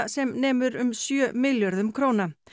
sem nemur um sjö milljörðum króna